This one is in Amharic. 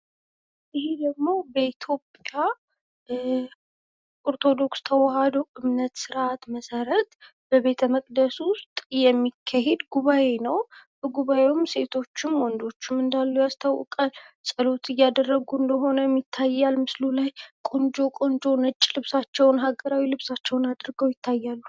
ይሄ ደግሞ በኢትዮጵያ ኦርቶዶክስ ተዋሕዶ እምነት ስርዓት መሠረት በቤተመቅደሱ ውስጥ የሚካሄድ ጉባኤ ነው። በጉባኤውም ወንዶቹም ሴቶቹም እንዳሉ ያስታውቃል። ጸሎት እያደረጉም እንደሆነ ይታያል ምስሉ ላይ ቆንጆ ቆንጆ ነጭ ልብሳቸውን ሀገራዊ ልብሳቸውን አድርገው ይታያሉ።